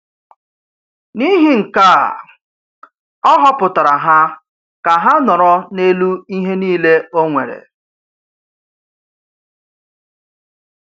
N’ihi nke a, ọ họpụtara ha ka ha nọrọ n’elu ihe niile ọ nwere.